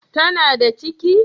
Ta na da ciki?